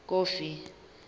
kofi